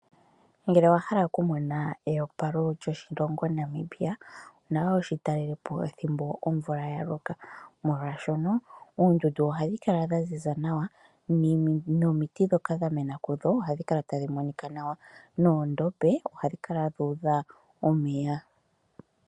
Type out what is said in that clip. Ngele owahala okumona eyopalo lyoshilongo Namibia onawa wushi talelepo thimbo omvula yaloka. Molwaashono oondundu ohadhi kala dhaziza nawa nomiti ndhoka dha mena kudho ohadhi kala tadhi monika nawa noondombe ohadhi kala dhuudha omeya.